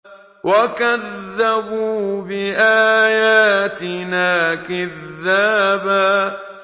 وَكَذَّبُوا بِآيَاتِنَا كِذَّابًا